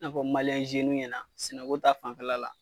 N'a fɔ ɲɛna sɛnɛ ko ta fanfɛla la